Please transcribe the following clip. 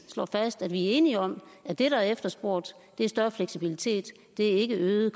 fast at vi er enige om at det der er efterspurgt er større fleksibilitet det er ikke øgede